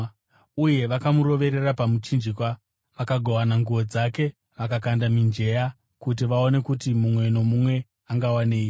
Uye vakamuroverera pamuchinjikwa. Vakagovana nguo dzake, vakakanda mijenya kuti vaone kuti mumwe nomumwe angawanei.